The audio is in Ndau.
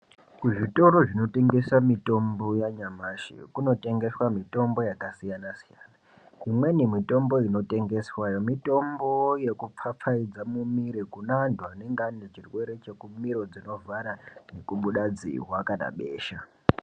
Kuzvitoro zvinotengesa mitombo yanyamashi kunotengeswa mitombo yakasiyana siyana. imweni mitombo inotengeswa mitombo yekupfapfaidza mumiri kune antu anenge ane chirwere chemiro dzinovhara, kubuda dzihwa kana besha.